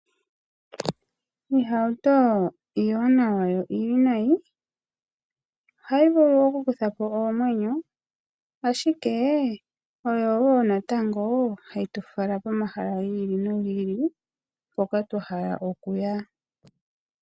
Iihauto iiwanawa yo iiwinayi ohayi vulu oku kutha po oomwenyo ashike oyo wo natango hayi tufala pomahala gi ili nogi ili hoka twa hala okuya.